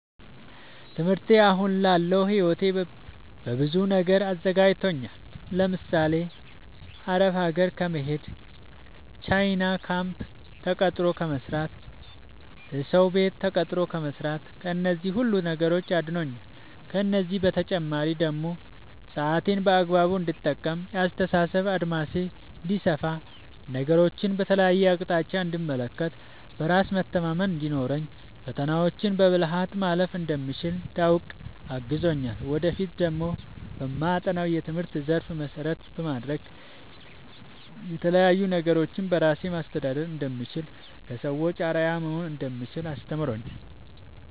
ትምህርቴ አሁን ላለው ህይወቴ በብዙ ነገር አዘጋጅቶኛል። ለምሳሌ፦ አረብ ሀገር ከመሄድ፣ ቻይና ካምፕ ተቀጥሮ ከመስራት፣ እሰው ቤት ተቀጥሮ ከመስራት ከነዚህ ሁሉ ነገሮች አድኖኛል። ከእነዚህ በተጨማሪ ደግሞ ሰአቴን በአግባቡ እንድጠቀም፣ የአስተሳሰብ አድማሴ እንዲሰፋ፣ ነገሮችን በተለያየ አቅጣጫ እንድመለከት፣ በራስ መተማመን እንዲኖረኝ፣ ፈተናዎችን በብልሀት ማለፍ እንደምችል እንዳውቅ አግዞኛል። ወደፊት ደግሞ በማጠናው የትምህርት ዘርፍ መሰረት በማድረግ የተለያዪ ነገሮችን በራሴ ማስተዳደር እንደምችል፣ ለሰዎች አርአያ መሆን እንደምችል አስተምሮኛል።